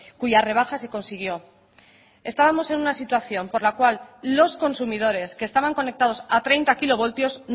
cuya rebaja se consiguió estábamos en una situación por la cual los consumidores que estaban conectados a treinta kilovoltios